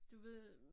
Du ved